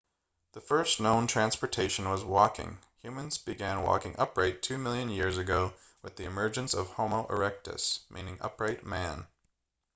the first known transportation was walking humans began walking upright two million years ago with the emergence of homo erectus meaning upright man